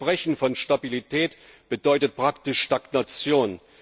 Sein Versprechen von Stabilität bedeutet praktisch Stagnation.